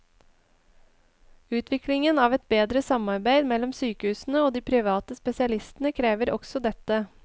Utviklingen av et bedre samarbeid mellom sykehusene og de private spesialistene krever også dette.